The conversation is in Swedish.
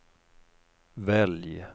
välj